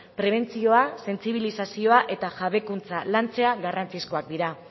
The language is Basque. prebentzioa sentsibilizazioa eta jabekuntza lantzea garrantzizkoak dira